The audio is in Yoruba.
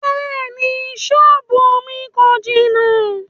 Bẹ́ẹ̀ni, sọ́ọ́bù mi kò jìnà.